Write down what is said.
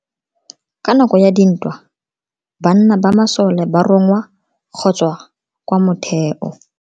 Ka nako ya dintwa banna ba masole ba rongwa go tswa kwa motheo.